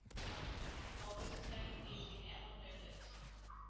অর্থনৈতিক অবস্থাই দিন দিন এমন হয়ে যাচ্ছে